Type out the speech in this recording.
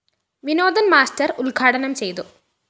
Vinodan‍ master ഉദ്‌ഘാടനം ചെയ്‌തു